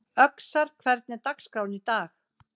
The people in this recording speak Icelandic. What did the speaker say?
Öxar, hvernig er dagskráin í dag?